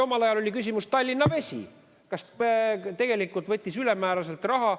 Omal ajal oli küsimuse all Tallinna Vesi, kes tegelikult võttis ülemääraselt raha.